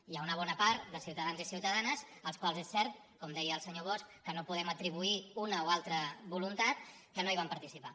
hi ha una bona part de ciutadans i ciuta·danes als quals és cert com ho deia el senyor bosch no podem atribuir una o altra voluntat que no hi van participar